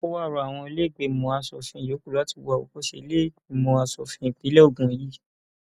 o wáá rọ àwọn ìlẹgbẹmọ asòfin yòókù láti wo àwòkọṣe ìlẹẹgbìmọ asòfin ìpínlẹ ogun yìí